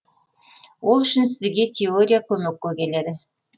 ол үшін сізге теория көмекке келеді